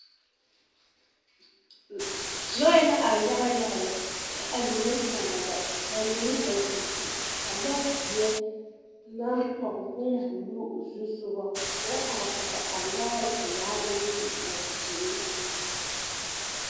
Lɔɛ la are yaga yaga lɛ kyɛ a mine sãã la ka mine a didi ka ka lɔzeɛ naŋ pɔge bombuluu o zusogɔ k'o are kɔge a lɔre pelaa naŋ di a vūū.